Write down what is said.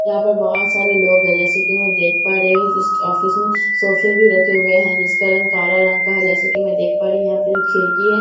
यहां पर बहोत सारे लोग हैं जैसा कि मैं देख पा रही हूं इस ऑफिस में सोफे भी रखे हुए हैं जिसका रंग काला रंग का है जैसा कि मैं देख पा रही हूं यहां पे जो खिड़की है--